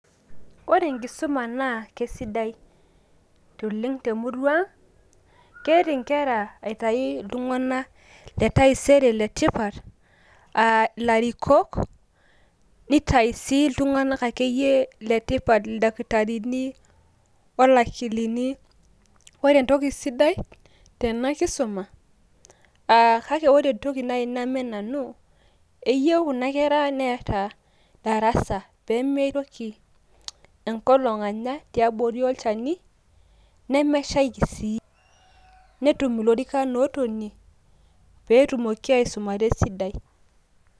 Wore enkisuma nakesidai temurua ang', keret inkera aitaki iltung'anak letaisere le tipat aa larikok, nitayu iltuganak akeyie le tipat ildakitarini, wolakilini. wore entoki sidai tena kisuma aa wore entoki naai namen nanu eyieuu kuna kera netaa darasa pemeitoki enkolong' anya tiabori olchani nemeshaiki sii netum ilorikan otonie petumoki aisumata esidai